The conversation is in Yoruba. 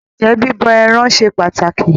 Ǹjẹ́ bíbọ ẹran ṣe pàtàkì?